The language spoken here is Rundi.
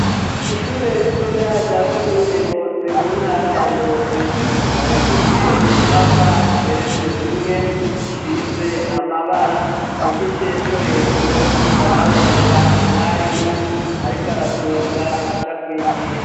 Ishure ritoya rya komine Ngozi mu ntara ya Ngozi ikaba ifise inyubakwa igeretse rimwe isize amabara, mu gice co hejuru hakaba haboneka umwarimu ariko araduga aja kwigisha.